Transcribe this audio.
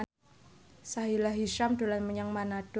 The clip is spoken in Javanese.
Sahila Hisyam dolan menyang Manado